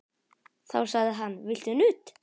Þá sagði hann: Viltu nudd?